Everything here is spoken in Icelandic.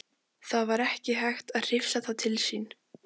Það var ekki hægt að hrifsa það til sín.